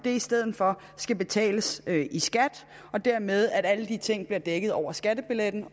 i stedet for skal betales i skat og dermed at alle de ting bliver dækket over skattebilletten og